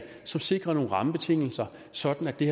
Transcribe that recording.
som sikrer nogle rammebetingelser sådan at det